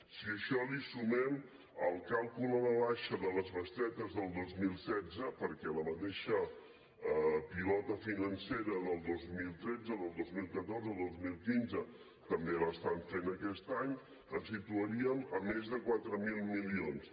si a això hi sumem el càlcul a la baixa de les bestretes del dos mil setze perquè la mateixa pilota financera del dos mil tretze dos mil catorze dos mil quinze també l’estan fent aquest any ens situaríem a més de quatre mil milions